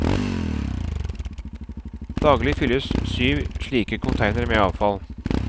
Daglig fylles syv slike containere med avfall.